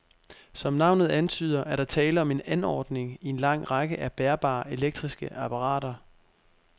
Som navnet antyder, er der tale om en anordning i en lang række af bærbare elektriske apparater.